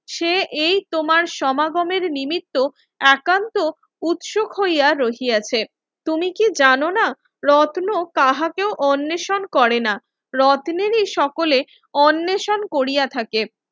সে এই তোমার সমাগমের নিমিত্ত একান্ত উৎসুক হইয়া রহিয়াছে তুমি কি জানোনা রত্ন কাহাকেও অন্নসন করেনা রত্নেরই সকলে অন্নেষণ কোরিয়া থাকে